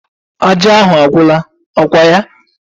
Aja ahụ agwụla, ọkwa ya?